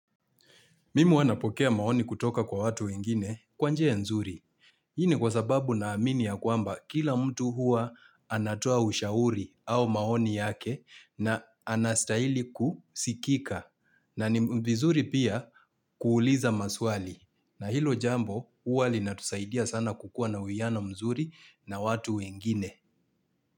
Mimu huwa napokea maoni kutoka kwa watu wengine kwa njia nzuri. Hii ni kwa sababu naamini ya kwamba kila mtu hua anatoa ushauri au maoni yake na anastaili kusikika. Na ni vizuri pia kuuliza maswali. Na hilo jambo hua linatusaidia sana kukua na uwiano mzuri na watu wengine.